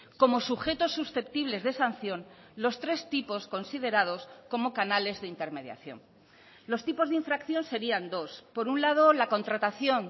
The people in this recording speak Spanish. como sujetos susceptibles de sanción los tres tipos considerados como canales de intermediación los tipos de infracción serían dos por un lado la contratación